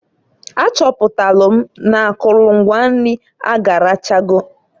A chọpụtalụ m n'akụlụ ngwa nri agarachogo.